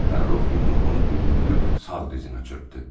Fərrux yumruğunu düyünləyib sağ dizinə çırpdı.